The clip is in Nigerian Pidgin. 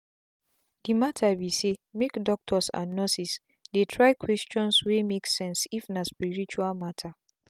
the matter be saymake doctors and nurses try dey questions wey make sense if na spirtual matter.